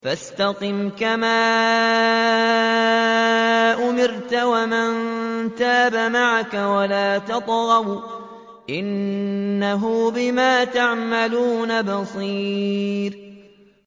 فَاسْتَقِمْ كَمَا أُمِرْتَ وَمَن تَابَ مَعَكَ وَلَا تَطْغَوْا ۚ إِنَّهُ بِمَا تَعْمَلُونَ بَصِيرٌ